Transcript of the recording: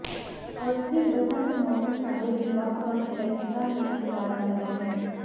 ਅਸਥਿਰ ਬਸੰਤ ਮੌਸਮ ਸਾਡੇ ਲਈ ਵੱਖ ਵੱਖ ਹੈਰਿਸਤਾਂ ਲਈ ਤਿਆਰ ਕਰਦਾ ਹੈ